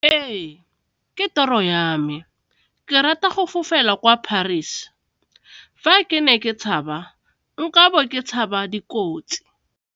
Ee, ke toro ya me, ke rata go fofela kwa Paris fa ke ne ke tshaba nkabo ke tshaba dikotsi.